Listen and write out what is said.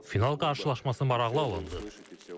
Final qarşılaşması maraqlı alındı.